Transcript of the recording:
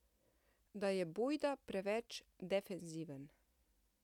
Da je bojda preveč defenziven.